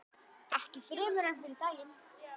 Ekki fremur en fyrri daginn.